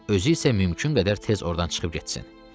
Özü isə mümkün qədər tez ordan çıxıb getsin.